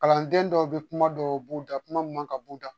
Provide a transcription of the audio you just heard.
Kalanden dɔw bɛ kuma dɔw b'u da kuma mun kan ka b'u da